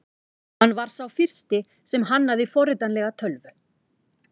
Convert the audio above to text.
Hann var sá fyrsti sem hannaði forritanlega tölvu.